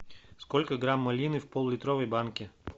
сколько грамм малины в поллитровой банке